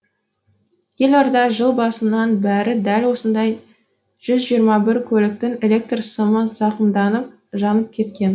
елорда жыл басынан бері дәл осындай жүз жиырма бір көліктің электр сымы зақымданып жанып кеткен